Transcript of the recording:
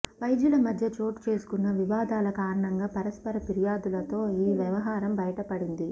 వైద్యుల మధ్య చోటు చేసుకున్న వివాదాల కారణంగా పరస్పర పిర్యాధులతో ఈ వ్యవహారం బయటపడింది